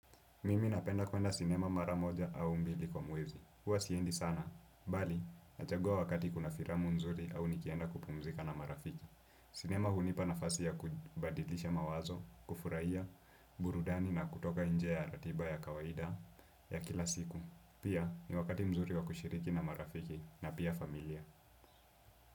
Mimi napenda kwenda sinema mara moja au mbili kwa mwezi. Huwa siendi sana. Bali, nachagua wakati kuna filamu mzuri au nikienda kupumzika na marafiki. Sinema hunipa nafasi ya kubadilisha mawazo, kufurahia, burudani na kutoka inje ya ratiba ya kawaida ya kila siku. Pia ni wakati mzuri wa kushiriki na marafiki na pia familia.